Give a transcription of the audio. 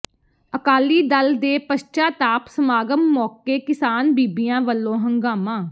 ਅਕਾਲੀ ਦਲ ਦੇ ਪਸ਼ਚਾਤਾਪ ਸਮਾਗਮ ਮੌਕੇ ਕਿਸਾਨ ਬੀਬੀਆਂ ਵੱਲੋਂ ਹੰਗਾਮਾ